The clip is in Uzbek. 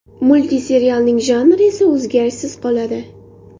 Multserialning janri esa o‘zgarishsiz qoladi.